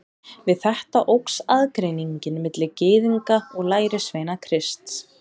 Við þetta óx aðgreiningin milli Gyðinga og lærisveina Krists.